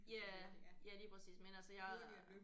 Ja ja lige præcis men altså jeg